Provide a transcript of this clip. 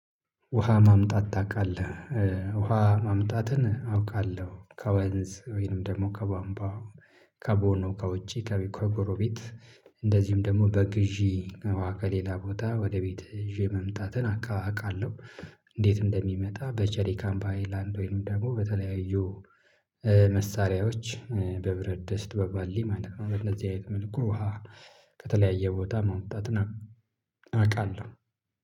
ውሃ ማምጣት ታውቃለህ? ውሃ ማምጣትን አውቃለሁ ከወንዝ ወይንም ደግሞ ከባምባ ከቦኖ ከውጪ ከጎረቤት ቤት እንደዚሁም ደግሞ በግዢ ከሌላ ቦታ ወደ ቤት ይዤ መምጣትን አቃ አቃለሁ። እንዴት እንደሚመጣ በቸሪ ካምፓይ ላንድዌን ደግሞ በተለያዩ መሳሪያዎች በብረት ደስት በባሊ ማለት ነው። በእንደዚህ አይነት መልኩ ውሃ ከተለያየ ቦታ ማምጣትን። አቃለሁ